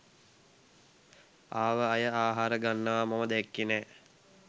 ආව අය ආහාර ගන්නවා මම දැක්කේ නෑ